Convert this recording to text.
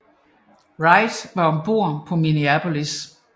Wright var om bord på Minneapolis